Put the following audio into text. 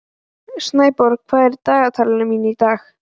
Snæborg, hvað er í dagatalinu mínu í dag?